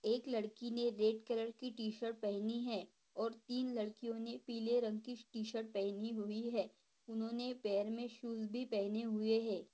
एक लडकी ने रेड कलर की टी-शर्ट पहनी है और तीन लड़कियों ने पीले रंग की टी-शर्ट पहनी हुई है उन्होने पेर मे शुज भी पेहने हुए है।